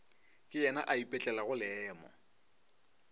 ke yena a ipetlelago leemo